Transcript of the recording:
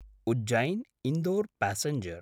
उज्जैन्–इन्दोर passenger